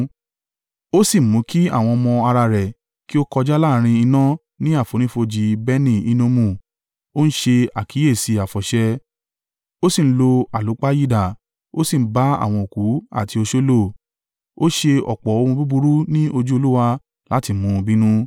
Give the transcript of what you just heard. Ó sì mú kí àwọn ọmọ ara rẹ̀ kí ó kọjá láàrín iná ní àfonífojì Beni-Hinnomu, ó ń ṣe àkíyèsí àfọ̀ṣẹ, ó sì ń lo àlúpàyídà, ó sì ń bá àwọn òku àti oṣó lò. Ó ṣe ọ̀pọ̀ ohun búburú ní ojú Olúwa láti mú un bínú.